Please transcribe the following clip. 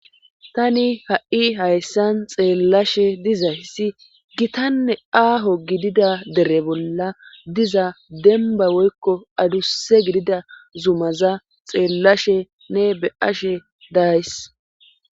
tani ha7i hayssan xeellashe diza hisi gitanne aaho gidida dere bolla diza denba woykko aduse gidida zumaza xeellashe ne be ashe days